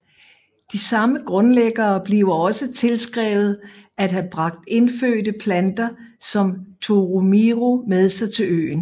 De samme grundlæggere bliver også tilskrevet at have bragt indfødte planter som toromiro med sig til øen